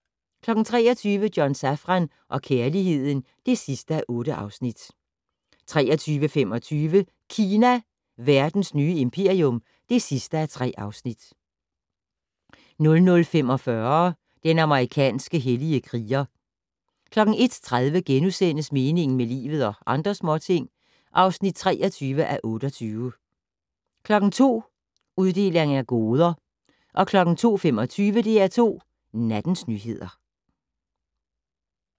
23:00: John Safran og kærligheden (8:8) 23:25: Kina - verdens nye imperium (3:3) 00:45: Den amerikanske hellige kriger 01:30: Meningen med livet - og andre småting (23:28)* 02:00: Uddeling af goder 02:25: DR2 Nattens nyheder